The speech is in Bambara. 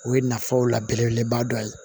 O ye nafaw la belebeleba dɔ ye